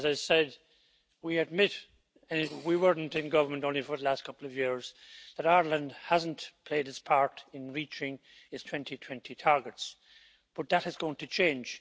As I said, we admit and we weren't in government, only for the last couple of years that Ireland hasn't played its part in reaching its 2020 targets, but that is going to change.